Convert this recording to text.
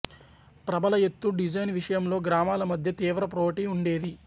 ప్రభల ఎత్తు డిజైన్ విషయంలో గ్రామాల మధ్య తీవ్ర పోటీ ఉండేది